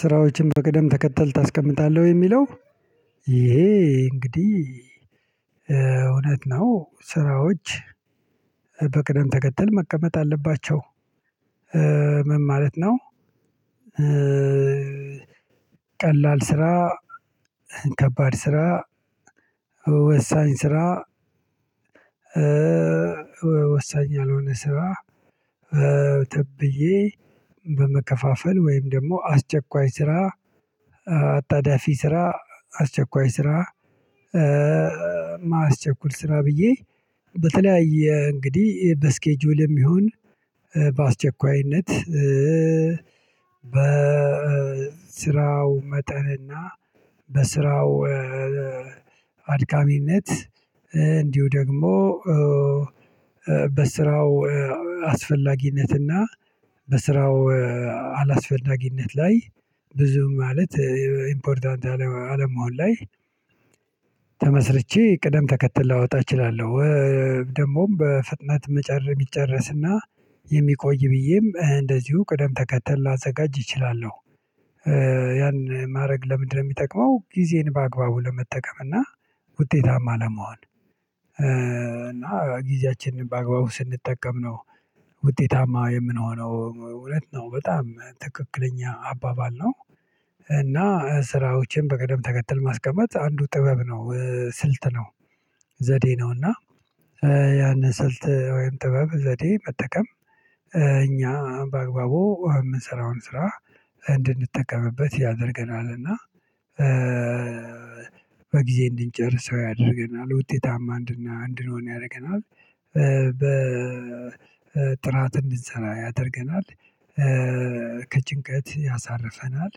ስራዎችን በቅደም ተከተል ታስቀምጣለህ ወይ የሚለው ይሄ እንግዲህ እውነት ነው ስራዎች በቅደም ተከተል መቀመጥ አለባቸው። ምን ማለት ነው? ቀላል ስራ ከባድ ስራ ወሳኝ ስራ ወሳኝ ያልሆነ ስራ። ብዬ በመከፋፈል ወይም ደግሞ አስቸኳይ ስራ አጣዳፊ ስራ አስቸኳይ ስራ። ማያስቸኩል ስራ ብዬ በተለያየ እንግዲህ በስኬጁል የሚሆን በአስቸኳይነት በስራው መጠን እና በስራው አድካሚነት እንዲሁ ደግሞ በስራው አስፈላጊነትና በስራው አላስፈላጊነት ላይ ብዙ ማለት ኢምፖርታንት አለመሆን ላይ ተመስርቼ ቅደም ተከተል ላወጣ እችላለሁ። ደግሞም በፍጥነት መጨረስ ይጨረስና የሚቆይ ብዬም እንደዚሁ ቅደም ተከተል ላዘጋጅ እችላለሁ። ያን ማድረግ ለምንድነው የሚጠቅመው? ጊዜን በአግባቡ ለመጠቀም እና ውጤታማ ለመሆን እና ጊዜያችንን በአግባቡ ስንጠቀም ነው ውጤታማ የምንሆነው እውነት ነው በጣም ትክክለኛ አባባል ነው። እና ስራዎችን በቀደም ተከተል ማስቀመጥ አንዱ ጥበብ ነው ስልት ነው። ዘዴ ነው ነውና። ያን ስልት ወይም ጥበብ ዘዴ መጠቀም እኛ በአግባቡ የምንሰራውን ስራ እንድንጠቀምበት ያደርገናል እና። በጊዜ እንድንጨርሰው ያደርገናል ውጤታማ አንድና አንድንሆን ያደርገናል በጥራት እንድንሰራ ያደርገናል ከጭንቀት ያሳርፈናል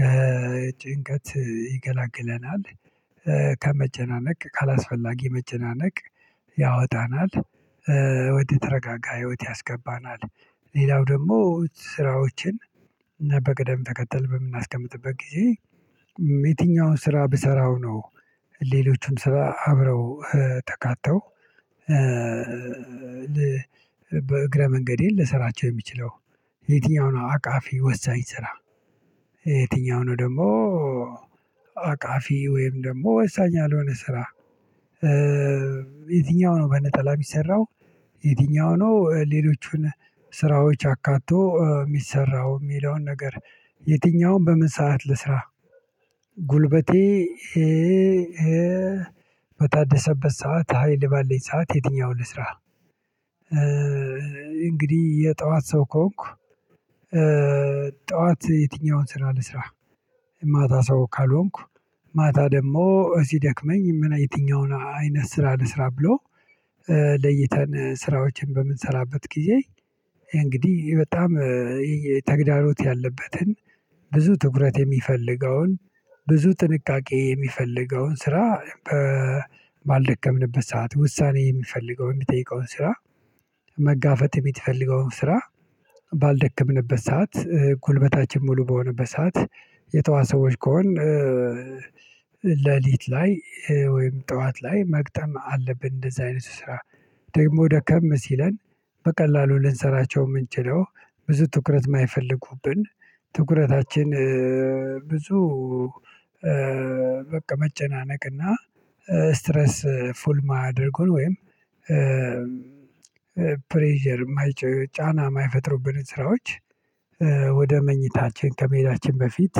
ከጭንቀት ይገላግለናል ከመጨናነቅ ካላስፈላጊ መጨናነቅ ያወጣናል ወደ ተረጋጋ ህይወት ያስገባናል። ሌላው ደግሞ ስራዎችን በቅደም ተከተል በምናስቀምጥበት ጊዜ የትኛውን ስራ ብሰራው ነው ሌሎቹም ስራ አብረው ተካተው በእግረ መንገዴ ልሰራቸው የሚችለው የትኛው ነው አቃፊ ወሳኝ ስራ? የትኛው ነው ደግሞ አቃፊ ወይም ደግሞ ወሳኝ ያልሆነ ስራ? የትኛው ነው በነጠላ የሚሰራው? የትኛው ነው ሌሎቹን ስራዎች አካቶ የሚሰራው የሚለውን ነገር የትኛውም በምን ሰዓት ልስራ? ጉልበቴ በታደሰበት ሰዓት ሀይል ባለኝ ሰዓት የትኛውን ልስራ? እንግዲህ የጠዋት ሰው ከሆንኩ ጠዋት የትኛውን ስራ ልስራ? ማታ ሰው ካልሆንኩ ማታ ደግሞ ሲደክመኝ ምን የትኛውን አይነት ስራ ልስራ ብሎ? ለይተን ስራዎችን በምንሰራበት ጊዜ እንግዲህ በጣም ተግዳሮት ያለበትን ብዙ ትኩረት የሚፈልገውን ብዙ ጥንቃቄ የሚፈልገውን ስራ። ባልደከምንበት ሰዓት ውሳኔ የሚፈልገውን የሚጠይቀውን ስራ። መጋፈጥ የምትፈልገው ስራ። ባልደከምንበት ሰዓት ጉልበታችን ሙሉ በሆነበት ሰዓት የጠዋት ሰዎች ከሆን ሌሊት ላይ ወይም ጠዋት ላይ መግጠም አለብን እንደዚህ አይነት ስራ። ደግሞ ደከም ሲለን በቀላሉ ልንሰራቸው የምንችለው ብዙ ትኩረት የማይፈልጉብን ትኩረታችን ብዙ በቃ መጨናነቅና ስትረስ ፉል ማያደርጉን ወይም የማይጨር ጫና የማይፈጥሩብን ስራዎች። ወደ መኝታችን ከመሄዳችን በፊት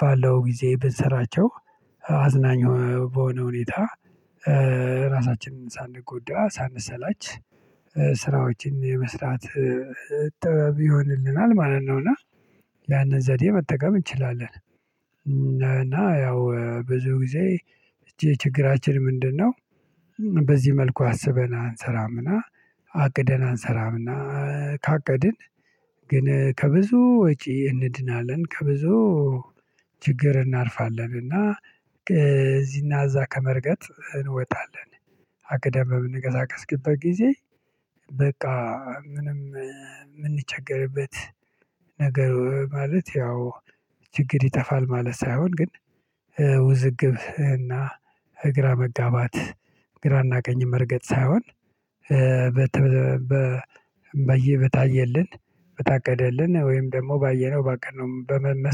ባለው ጊዜ ብንሰራቸው አዝናኝ በሆነ ሁኔታ ራሳችንን ሳንጎዳ ሳንሰላች ስራዎችን የመስራት ጥበብ ይሆንልናል ማለት ነው። እና ያንን ዘዴ መጠቀም እንችላለን። እና ያው ብዙ ጊዜ የችግራችን ምንድነው? በዚህ መልኩ አስበን እንሰራምና አቅደን አንሰራምና ካቀድን ግን ከብዙ ወጪ እንድናለን ከብዙ ችግር እናርፋለን እና እዚህና እዛ ከመርገጥ እንወጣለን። አቅደን በምንንቀሳቀስበት ጊዜ በቃ ምንም የምንቸገርበት ነገር ማለት ያው ችግር ይጠፋል ማለት ሳይሆን ግን ውዝግብ እና እግራ መጋባት ግራና ቀኝ መርገጥ ሳይሆን በየ በታየልን በታቀደልን ወይም ደግሞ ባየነው ባቀድነው በመመስረት